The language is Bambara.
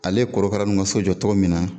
Ale korokara kaso jɔ togo min na.